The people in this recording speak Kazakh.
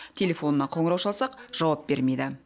телефонына қоңырау шалсақ жауап бермейді